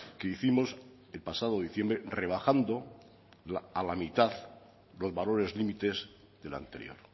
que hicimos el pasado diciembre rebajando a la mitad los valores límites de la anterior